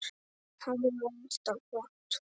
Hárið var alltaf flott.